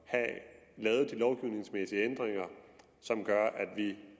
have lavet de lovgivningsmæssige ændringer som gør at vi